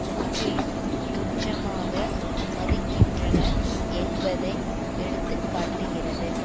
முற்றிலும் துச்சமாக மதிக்கின்றனர் என்பதை எடுத்து காட்டுகிறது